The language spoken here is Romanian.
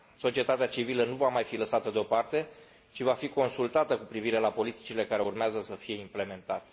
Societatea civilă nu va mai fi lăsată de o parte, ci va fi consultată cu privire la politicile care urmează să fie implementate.